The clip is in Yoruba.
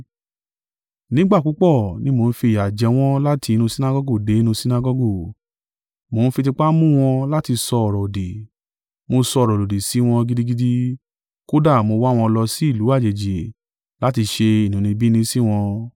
Nígbà púpọ̀ ni mo ń fi ìyà jẹ wọ́n láti inú Sinagọgu dé inú Sinagọgu, mo ń fi tipá mú wọn láti sọ ọ̀rọ̀-òdì. Mo sọ̀rọ̀ lòdì sí wọn gidigidi, kódà mo wá wọn lọ sí ìlú àjèjì láti ṣe inúnibíni sí wọn.